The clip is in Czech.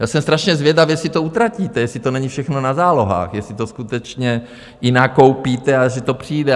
Já jsem strašně zvědavý, jestli to utratíte, jestli to není všechno na zálohách, jestli to skutečně i nakoupíte a že to přijde.